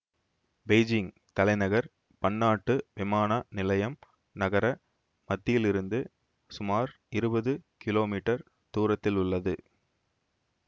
Beijing தலைநகர் பன்னாட்டு விமான நிலையம் நகர மத்தியிலிருந்து சுமார் இருபது கிலோமீட்டர் தூரத்திலுள்ளது